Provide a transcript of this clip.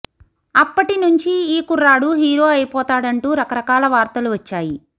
అప్పటి నుంచి ఈ కుర్రాడు హీరో అయిపోతాడంటూ రకరకాల వార్తలు వచ్చాయి